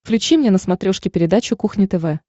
включи мне на смотрешке передачу кухня тв